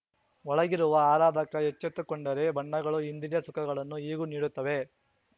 ಒಳಗಿರುವ ಆರಾಧಕ ಎಚ್ಚೆತ್ತುಕೊಂಡರೆ ಬಣ್ಣಗಳು ಇಂದ್ರಿಯ ಸುಖಗಳನ್ನು ಹೀಗೂ ನೀಡುತ್ತವೆ